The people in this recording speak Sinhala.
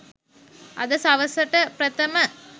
අද සවස .ට ප්‍රථම